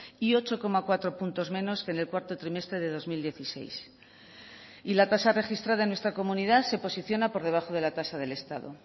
y ocho coma cuatro puntos menos que en el cuarto trimestre de dos mil dieciséis y la tasa registrada en nuestra comunidad se posiciona por debajo de la tasa del estado